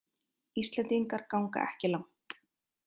Íslendingar ganga ekki langt